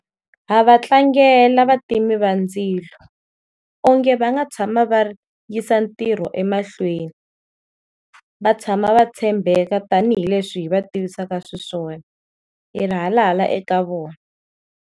Ha va tlangela vativi va ndzilo, onge va nga tshama va yisa ntirho emahlweni, va tshama va tshembeka tanihileswi hi va tivisaka xiswona, hi ri halala eka vona.